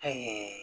Ɛɛ